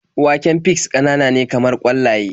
Waken fis ƙananane kamar ƙwallaye.